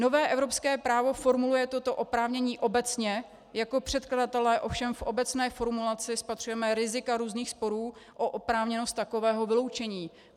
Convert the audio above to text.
Nové evropské právo formuluje toto oprávnění obecně, jako předkladatelé ovšem v obecné formulaci spatřujeme rizika různých sporů o oprávněnost takového vyloučení.